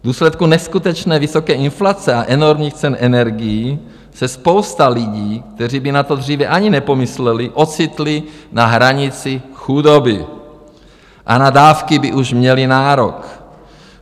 V důsledku neskutečně vysoké inflace a enormních cen energií se spousta lidí, kteří by na to dříve ani nepomysleli, ocitli na hranici chudoby a na dávky by už měli nárok.